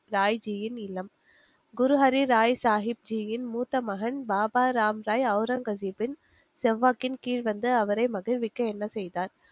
ராய்ஜியின் இல்லம். குருஹாரி ராய் சாஹிப்ஜியின் மூத்தமகன் பாபா ராம்ராய் ஒளரங்கசீப்பின் செல்வாக்கின் கீழ் வந்து அவரை மகிழ்விக்க என்ன செய்தார்